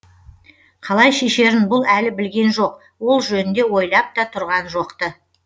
қалай шешерін бұл әлі білген жоқ ол жөнінде ойлап та тұрған жоқ ты